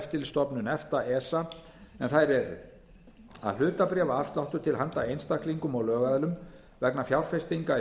eftirlitsstofnun efta en þær eru að hlutabréfaafsláttur til handa einstaklingum og lögaðilum vegna fjárfestinga í